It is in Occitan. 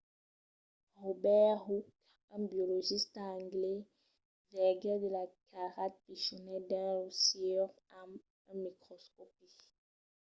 robert hooke un biologista anglés vegèt de cairats pichonets dins lo siure amb un microscòpi